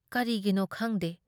ꯀꯔꯤꯒꯤꯅꯣ ꯈꯪꯗꯦ ꯫